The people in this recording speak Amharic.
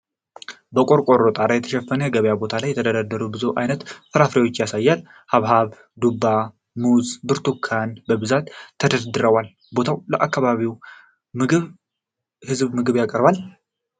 በቆርቆሮ ጣሪያ በተሸፈነ የገበያ ቦታ ላይ የተደረደሩ ብዙ ዓይነት ፍራፍሬዎችን ያሳያል። ሐብሐብ፣ ዱባ፣ ሙዝ እና ብርቱካን በብዛት ተደርድረዋል። ቦታው ለአካባቢው ሕዝብ ምግብ ያቀርባል?